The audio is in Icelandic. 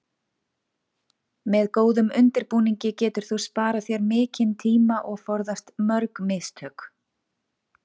Með góðum undirbúningi getur þú sparað þér mikinn tíma og forðast mörg mistök.